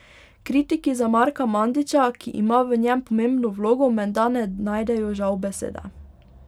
Kritiki za Marka Mandića, ki ima v njem pomembno vlogo, menda ne najdejo žal besede.